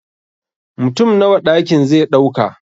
Mutum Nawa ɗakin ze ɗauka